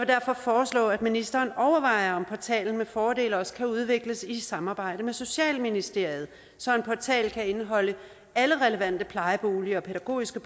derfor foreslå at ministeren overvejer om portalen med fordel også kan udvikles i et samarbejde med socialministeriet så en portal kan indeholde alle relevante plejeboliger og pædagogiske